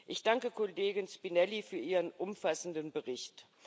Ich danke Kollegin Spinelli für ihren umfassenden Bericht.